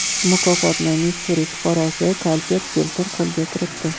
Mukofotni Missuri fuqarosi Kalter Tilton qo‘lga kiritdi.